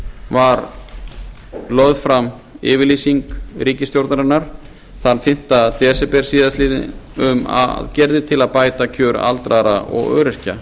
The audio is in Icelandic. var lögð fram yfirlýsing ríkisstjórnarinnar þann fimmta desember síðastliðinn um aðgerðir til að bæta kjör aldraðra og öryrkja